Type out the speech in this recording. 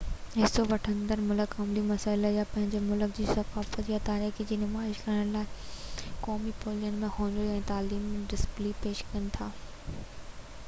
حصو وٺندڙ ملڪ عالمي مسئلا يا پنهنجي ملڪ جي ثقافت يا تاريخ جي نمائش ڪرڻ جي لاءِ قومي پويلين ۾ هنري ۽ تعليمي ڊسپلي پيش ڪن ٿا